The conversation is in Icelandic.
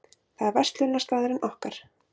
Það er verslunarstaðurinn okkar.